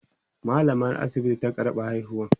mallamar asibiti ta karɓa haihuwan